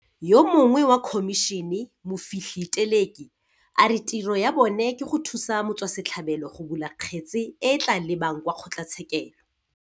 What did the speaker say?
Yo mongwe wa khomišene, Mofihli Teleki, a re tiro ya bona ke go thusa motswase tlhabelo go bula kgetse e e tla lebang kwa kgotlatshekelo.